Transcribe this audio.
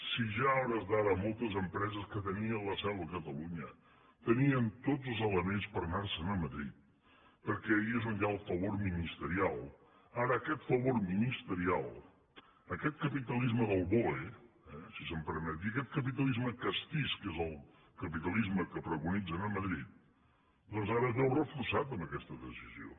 si ja a hores d’ara moltes de les em·preses que tenien la seu a catalunya tenien tots els ele·ments per anar·se’n a madrid perquè allí és on hi ha el favor ministerial ara aquest favor ministerial aquest capitalisme del boe eh si se’m permet dir·ho aquest capitalisme castís que és el capitalisme que preconitzen a madrid doncs ara es veu reforçat amb aquesta decisió